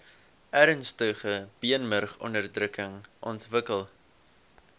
ernstige beenmurgonderdrukking ontwikkel